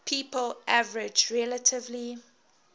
people average relatively